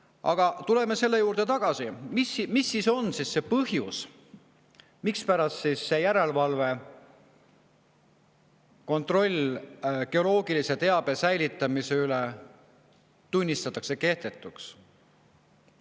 Aga tuleme tagasi selle juurde, mis siis on see põhjus, mispärast see järelevalve, kontroll geoloogilise teabe säilitamise üle tunnistatakse kehtetuks.